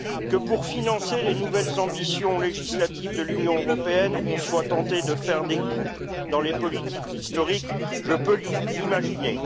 Que pour financer les nouvelles ambitions législatives de l'Union européenne, on soit tenté de faire des coupes dans les politiques historiques, je peux l'imaginer.